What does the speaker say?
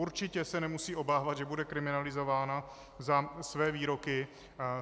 Určitě se nemusí obávat, že bude kriminalizována za své výroky.